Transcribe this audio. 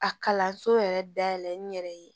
A kalanso yɛrɛ dayɛlɛ n yɛrɛ ye